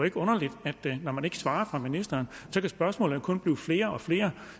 ikke underligt når man ikke svarer fra ministerens side at spørgsmålene kun bliver flere og flere